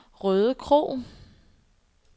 Rødekro